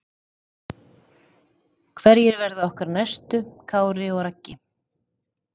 Hverjir verða okkar næstu Kári og Raggi?